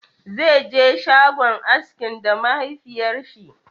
Zaije shagon askin da mahafiyar shi